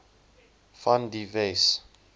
van die wes